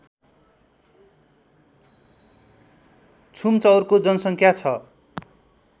छुम्चौरको जनसङ्ख्या छ